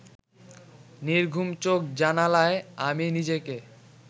নির্ঘুম চোখ জানালায় আমি নিজেকে